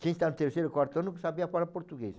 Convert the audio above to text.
Quem está no terceiro, quarto ano que sabia falar português.